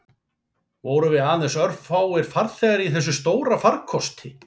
Vorum við aðeins örfáir farþegar í þessum stóra farkosti